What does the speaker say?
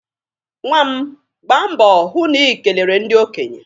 Nwa m, gbaa mbọ hụ na i kelere ndị okenye.